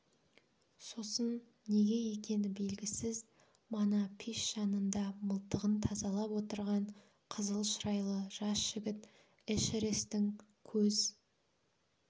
сосын неге екені белгісіз мана пеш жанында мылтығын тазалап отырған қызыл шырайлы жас жігіт эшерестің көз